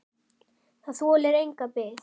Það þolir enga bið!